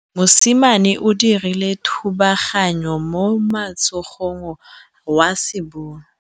Mosimane o dirile thubaganyô mo motshamekong wa basebôlô.